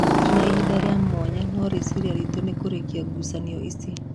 Tũtirĩ na ihinda rĩa mwanya no rĩciria ritũ nĩ kũrĩkia ngucanio ici."